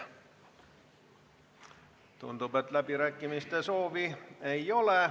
Tundub, et läbirääkimiste soovi ei ole.